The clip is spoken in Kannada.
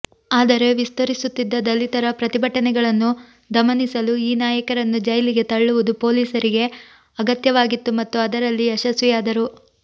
ಆದರೆ ವಿಸ್ತರಿಸುತ್ತಿದ್ದ ದಲಿತರ ಪ್ರತಿಭಟನೆಗಳನ್ನು ದಮನಿಸಲು ಈ ನಾಯಕರನ್ನು ಜೈಲಿಗೆ ತಳ್ಳುವುದು ಪೊಲೀಸರಿಗೆ ಅಗತ್ಯವಾಗಿತ್ತು ಮತ್ತು ಅದರಲ್ಲಿ ಯಶಸ್ವಿಯಾದರು